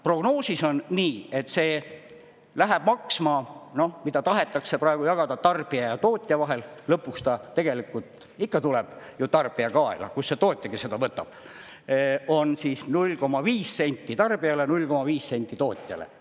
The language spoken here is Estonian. Prognoosis on nii, et see läheb maksma – noh, mida tahetakse praegu jagada tarbija ja tootja vahel, lõpuks ta tegelikult ikka tuleb ju tarbija kaela, kust see tootjagi seda võtab –, on 0,5 senti tarbijale, 0,5 senti tootjale.